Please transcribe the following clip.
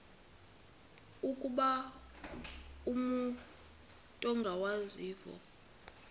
ukuba umut ongawazivo